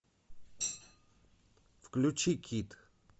включи кит